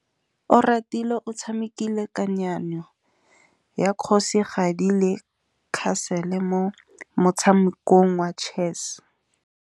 Oratile o tshamekile kananyô ya kgosigadi le khasêlê mo motshamekong wa chess.